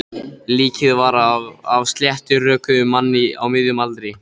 Líkið var af sléttrökuðum manni á miðjum aldri.